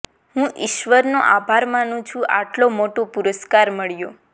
હુ ઇશ્વરનો આભાર માનુ છું આટલો મોટો પુરસ્કાર મળ્યો